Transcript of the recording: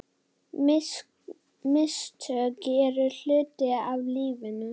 Mistök eru hluti af lífinu.